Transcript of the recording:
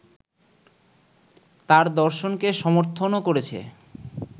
তার দর্শনকে সমর্থনও করেছে